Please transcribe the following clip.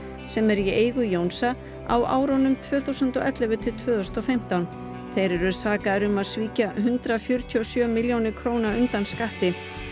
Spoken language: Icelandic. sem er í eigu Jónsa á árunum tvö þúsund og ellefu til tvö þúsund og fimmtán þeir eru sakaðir um að svíkja hundrað fjörutíu og sjö milljónir króna undan skatti